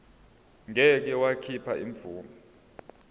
ngeke wakhipha imvume